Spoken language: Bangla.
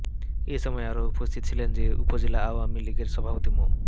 এ সময় আরো উপস্থিত ছিলেন উপজেলা আওয়ামী লীগের সভাপতি মো